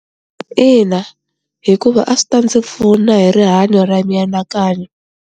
Ina hikuva a swi ta ndzi pfuna hi rihanyo ra mianakanyo.